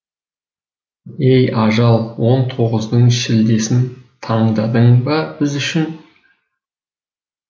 ей ажал он тоғыздың шілдесін таңдадың ба біз үшін